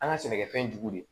An ka sɛnɛkɛfɛn jugu de